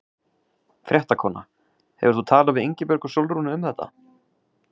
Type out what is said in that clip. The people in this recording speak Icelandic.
Fréttakona: Hefur þú talað við Ingibjörgu Sólrúnu um þetta?